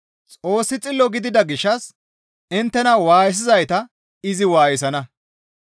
Xoossi xillo gidida gishshas inttena waayisizayta izi waayisana.